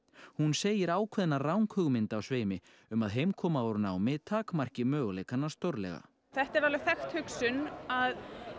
hún segir ákveðna ranghugmynd á sveimi um að heimkoma úr námi takmarki möguleikana stórlega þetta er alveg þekkt hugsun að